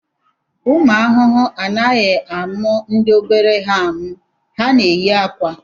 Ụmụ ahụhụ anaghị amụ ndị obere ha amụ, ha na-eyi akwa